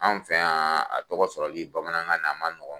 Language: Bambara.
Anw fɛyan a tɔgɔ sɔrɔli bamanankan na a man nɔgɔ.